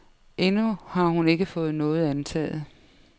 Endnu har hun ikke fået noget antaget.